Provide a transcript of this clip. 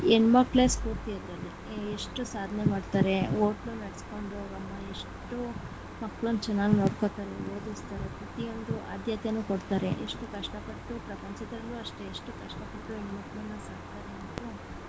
ಹೆಣ್ಮಕ್ಕಳೆ ಸ್ಪೂರ್ತಿ ಅದರಲ್ಲಿ ಹೆ~ ಎಷ್ಟು ಸಾಧನೆ ಮಾಡ್ತಾರೆ ಎಷ್ಟು ಮಕ್ಕಳುನ್ ಚೆನ್ನಾಗ ನೋಡ್ಕೊತಾರೆ ಓದುಸ್ತಾರೇ ಪ್ರತಿಯೊಂದು ಆದ್ಯತೆನು ಕೊಡ್ತಾರೆ ಎಷ್ಟು ಕಷ್ಟಪಟ್ಟು ಪ್ರಪಂಚದಾಗು ಅಷ್ಟೆ ಎಷ್ಟು ಕಷ್ಟ ಪಟ್ಟು ಹೆಣ್ಮಕ್ಕಳನ್ನ ಸಾಕ್ತಾರೆ.